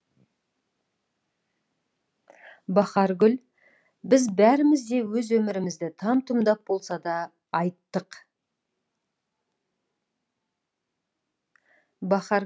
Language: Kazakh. бахаргүл біз бәріміз де өз өмірімізді там тұмдап болса да айттық